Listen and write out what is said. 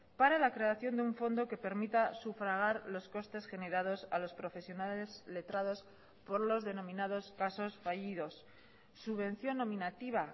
para la creación de un fondo que permita sufragar los costes generados a los profesionales letrados por los denominados casos fallidos subvención nominativa